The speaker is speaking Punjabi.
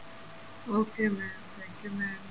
okay mam thank you mam